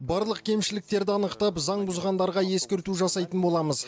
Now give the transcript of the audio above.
барлық кемшілікті анықтап заң бұзғандарға ескерту жасайтын боламыз